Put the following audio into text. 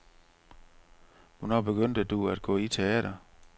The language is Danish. Hvornår begyndte du at gå i teater.